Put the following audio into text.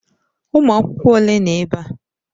Ụmụ akwụkwọ ole nọ ebe a?